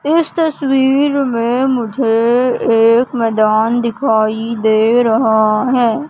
इस तस्वीर में मुझे एक मैदान दिखाई दे रहा है।